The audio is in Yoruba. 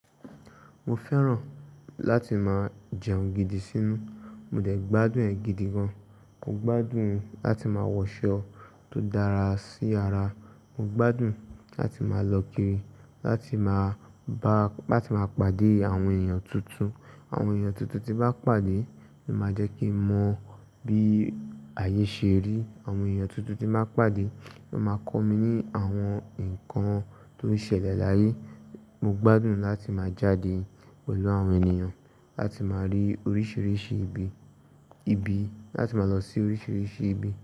Mo fẹ́ràn láti máa jẹun gidi sínú. Mo dẹ̀ gbádùn ẹ̀ gidi gan. Mo gbádùn láti ma wọ̀ṣọ tó dára sí ara. Mo gbádùn láti máa lọ kiri, láti máa bá, láti má pàdé àwọn èèyàn tuntun. Àwọn èèyàn tuntun tí má pàdé ni o máa jẹ́ kí mọ bí ayé ṣe rí. Àwọn èèyàn tuntun tí má pàdé ni ó máa kọ mi ní àwọn nǹkan tó ń ṣẹlẹ̀ láyé. Mo gbádùn láti máa jáde pẹ̀lú àwọn ènìyàn, láti máa rí oríṣiríṣi ìbi, ìbi, láti ma lọ sí oríṣiríṣi ìbi.